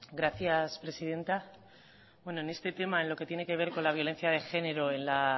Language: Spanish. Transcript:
gracias presidenta bueno en este tema en lo que tiene que ver con la violencia de género en la